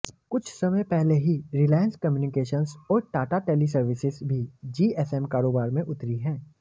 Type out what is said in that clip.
कुछ समय पहले ही रिलायंस कम्युनिकेशंस और टाटा टेलीसर्विसेस भी जीएसएम कारोबार में उतरी हैं